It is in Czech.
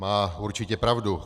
Má určitě pravdu.